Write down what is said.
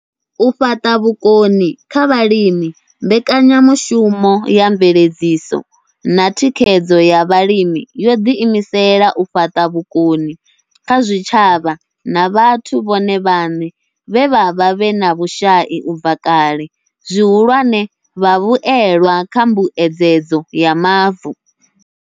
U fhaṱa vhukoni kha vhalimi mbekanyamushumo ya mveledziso na thikhedzo ya Vhalimi yo ḓi imisela u fhaṱa vhukoni kha zwitshavha na vhathu vhone vhaṋe vhe vha vha vhe na vhushai u bva kale, zwihulwane, vhavhuelwa kha mbuedzedzo ya mavu.